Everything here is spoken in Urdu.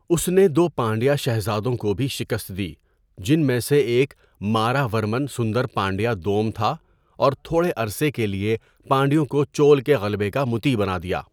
اس نے دو پانڈیا شہزادوں کو بھی شکست دی جن میں سے ایک ماراورمن سندر پانڈیا دوم تھا اور تھوڑے عرصے کے لیے پانڈیوں کو چول کے غلبے کا مطیع بنادیا۔